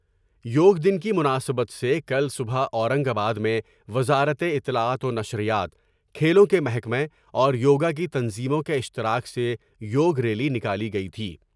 یوگ دن کی مناسبت سے کل صبح اورنگ آباد میں وزارت اطلاعات ونشریات ، کھیلوں کے محکمہ اور یوگا کی تنظیموں کے اشتراک سے یوگ ریلی نکالی گئی تھی ۔